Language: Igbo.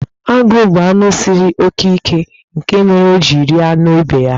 Agụ bụ anụ siri oke ike, nke mere o ji rie anụ ibe ya.